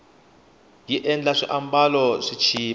yi endla swiambalo swi chipa